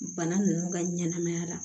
Bana nunnu ka ɲɛnɛmaya la